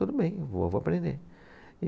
Tudo bem, eu vou, vou aprender.